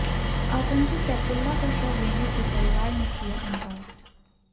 आतंकी सैफुल्ला का शव लेने से परिवार ने किया इंकार